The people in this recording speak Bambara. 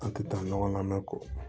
An tɛ taa ɲɔgɔn na mɛ ko